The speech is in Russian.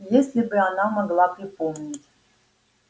если бы она могла припомнить